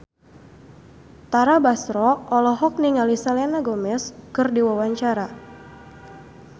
Tara Basro olohok ningali Selena Gomez keur diwawancara